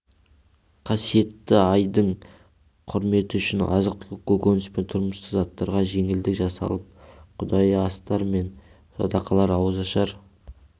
қасиетті айдың құрметі үшін азық-түлік көкөніс пен тұрмыстық заттарға жеңілдік жасалып құдайы астар мен садақалар ауызашар